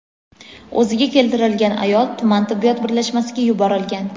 O‘ziga keltirilgan ayol tuman tibbiyot birlashmasiga yuborilgan.